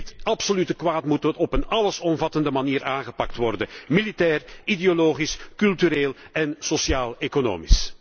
Dit absolute kwaad moet op een allesomvattende manier aangepakt worden, militair, ideologisch, cultureel en sociaal economisch.